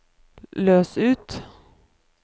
løs ut